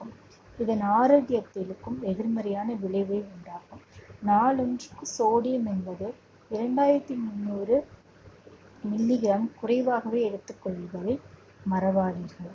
இதன் ஆரோக்கியத்திற்கும் எதிர்மறையான விளைவை உண்டாகும். நாளொன்றுக்கு sodium என்பது இரண்டாயிரத்தி முந்நூறு milligram குறைவாகவே எடுத்துக் மறவாதீர்கள்